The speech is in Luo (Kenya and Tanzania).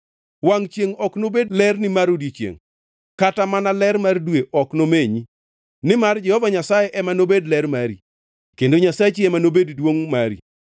Wangʼ chiengʼ ok nobed lerni mar odiechiengʼ kata mana ler mar dwe ok nomenyi, nimar Jehova Nyasaye ema nobed ler mari kendo Nyasachi ema nobed duongʼ mari.